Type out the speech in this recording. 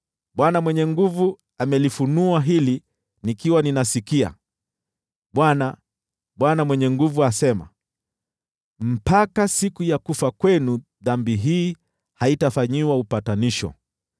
Bwana Mwenye Nguvu Zote amelifunua hili nikiwa ninasikia: Bwana, Bwana Mwenye Nguvu Zote, asema: “Mpaka siku ya kufa kwenu, dhambi hii haitafanyiwa upatanisho.”